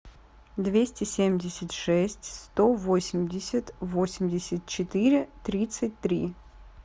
двести семьдесят шесть сто восемьдесят восемьдесят четыре тридцать три